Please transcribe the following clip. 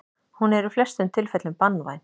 Hún er í flestum tilfellum banvæn.